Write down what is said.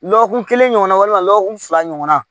Lɔgɔkun kelen ɲɔgɔnna walima lɔgɔkun fila ɲɔgɔnna